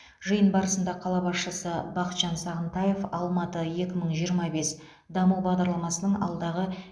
жиын барысында қала басшысы бақытжан сағынтаев алматы екі мың жиырма бес даму бағдарламасының алдағы